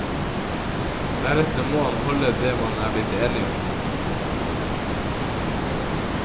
Deretter må han holde det man er blitt enige om.